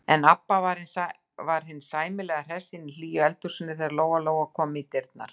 En Abba hin var sæmilega hress inni í hlýju eldhúsinu þegar Lóa-Lóa kom í dyrnar.